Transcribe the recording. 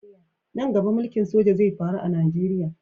Nan gaba mulki'n soja zai faru a'Nijeriya.